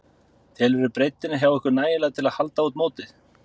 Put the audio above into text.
Telurðu breiddina hjá ykkur nægilega til að halda út mótið?